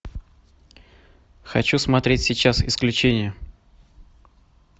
хочу смотреть сейчас исключение